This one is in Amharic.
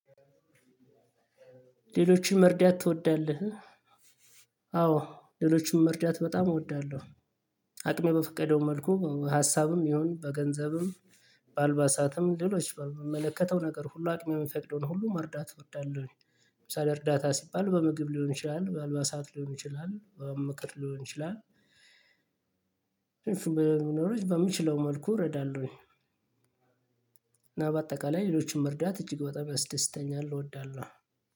ሌሎችን መርዳት ትወዳለህ? አዎ አዎ ሌሎቹን መርዳት በጣም እወዳለሁ። አቅሜ በፈቀደው መልኩ እ ሀሳብም ይሁን በገንዘብም። በአልባሳትም ሌሎች በምመለከተው ነገር ሁሉ አቅሜ የሚፈቅደውን ሁሉ መርዳት እወዳለሁ። ለምሳሌ እርዳታ ሲባል በምግብ ሊሆን ይችላል በአልባሳት ሊሆን ይችላል በምክር ሊሆን ይችላል። በሚኖረኝ በምችለው መልኩ እረዳለሁኝ። እና በአጠቃላይ ሌሎችን መርዳት እጅግ በጣም ያስደስተኛል እወዳለሁ።